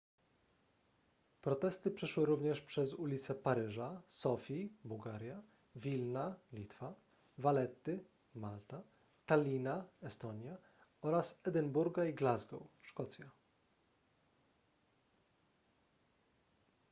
protesty przeszły również przez ulice paryża sofii bułgaria wilna litwa valetty malta tallina estonia oraz edynburga i glasgow szkocja